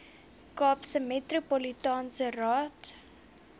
kaapse metropolitaanse raad